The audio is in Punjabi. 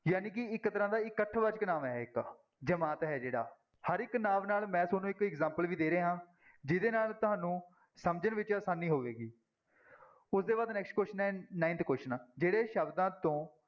ਜਾਣੀਕਿ ਇੱਕ ਤਰ੍ਹਾਂ ਦਾ ਇਕੱਠ ਵਾਚਕ ਨਾਂਵ ਹੈ ਇੱਕ ਜਮਾਤ ਹੈ ਜਿਹੜਾ, ਹਰ ਇੱਕ ਨਾਂਵ ਨਾਲ ਮੈਂ ਤੁਹਾਨੂੰ ਇੱਕ example ਵੀ ਦੇ ਰਿਹਾ ਹਾਂ, ਜਿਹਦੇ ਨਾਲ ਤੁਹਾਨੂੰ ਸਮਝਣ ਵਿੱਚ ਆਸਾਨੀ ਹੋਵੇਗੀ ਉਹਦੇ ਬਾਅਦ next question ਹੈ ninth question ਜਿਹੜੇ ਸ਼ਬਦਾਂ ਤੋਂ